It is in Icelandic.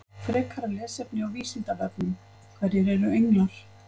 Frekara lesefni á Vísindavefnum: Hverjir eru englar?